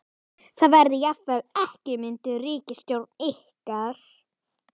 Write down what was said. Það verði jafnvel ekki mynduð ríkisstjórn án ykkar?